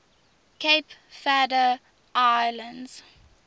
cape verde islands